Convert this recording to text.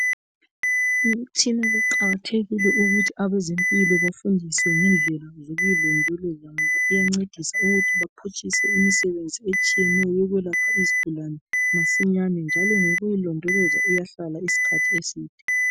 imitshina kuqhakathekile ukuthi abezempilo befundiswe ngendlela zokuyilondoloza ngoba kuyancedisa ukuthi baqhatshise imsebenzi etshiyeneyo ukwelapha izigulane masinyane njalo ngokuyilondoloza iyahlala isikhathi eside